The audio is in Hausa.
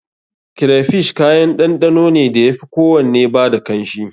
Crayfish kayan ɗanɗano ne da ya fi kowanne ba da kanshi.